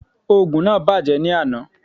Ògùn náà bàjẹ́ ní àná